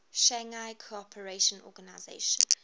shanghai cooperation organization